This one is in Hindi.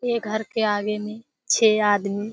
ये घर के आगे में छे आदमी --